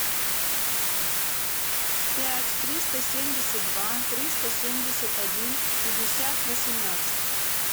пять триста семьдесят два триста семьдесят один пятьдесят восемнадцать